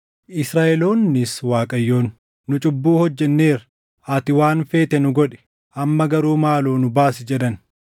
Israaʼeloonnis Waaqayyoon, “Nu cubbuu hojjenneera. Ati waan feete nu godhi; amma garuu maaloo nu baasi” jedhan.